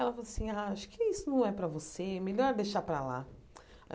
Ela falou assim, ah acho que isso não é para você, melhor deixar para lá.